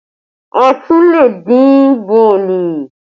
A tún lè dín bọ̀ọ̀lì